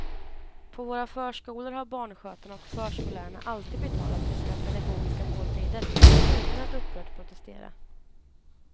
På våra förskolor har barnskötarna och förskollärarna alltid betalat för sina pedagogiska måltider utan att upprört protestera.